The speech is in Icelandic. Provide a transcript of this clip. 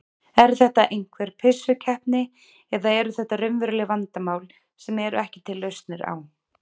Er þetta einhver pissukeppni eða eru þetta raunveruleg vandamál sem eru ekki til lausnir á?